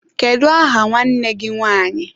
Kedụ aha nwanne gị nwanyị?